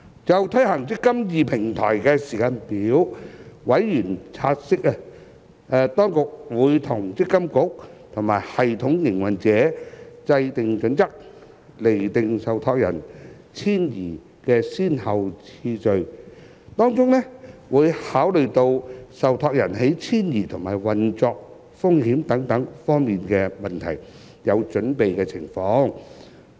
就推行"積金易"平台的時間表，委員察悉，當局會與積金局及系統營運者制訂準則，釐定受託人遷移的先後次序，當中會考慮到受託人在遷移及運作風險等方面的準備情況。